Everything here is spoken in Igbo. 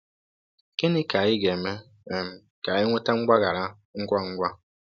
Gịnị ka anyị ga-eme um ka anyị nweta mgbaghara ngwa ngwa?